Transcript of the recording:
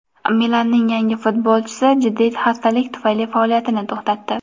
"Milan"ning yangi futbolchisi jiddiy xastalik tufayli faoliyatini to‘xtatdi.